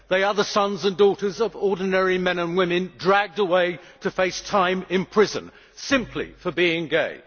They are the sons and daughters of ordinary men and women, dragged away to face time in prison simply for being gay.